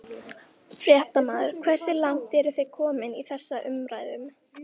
Fréttamaður: Hversu langt eru þið komin í þessum umræðum?